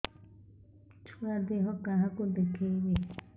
ଛୁଆ ଦେହ କାହାକୁ ଦେଖେଇବି